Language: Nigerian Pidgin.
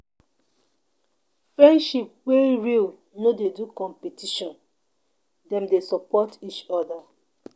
Friendship wey real no dey do competition, Dem dey support each oda.